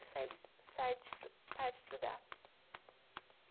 parar de estudar.